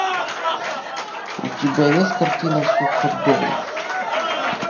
у тебя есть картина суходол